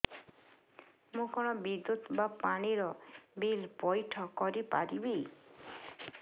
ମୁ କଣ ବିଦ୍ୟୁତ ବା ପାଣି ର ବିଲ ପଇଠ କରି ପାରିବି